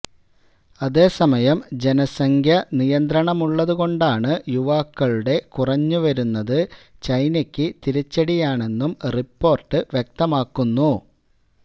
അതേ സമയം ജനസംഖ്യ നിയന്ത്രണമുള്ളത് കൊണ്ട് യുവാക്കളുടെ കുറഞ്ഞ് വരുന്നത് ചൈനക്ക് തിരിച്ചടിയാണെന്നും റിപ്പോര്ട്ട് വ്യക്തമാക്കുന്നു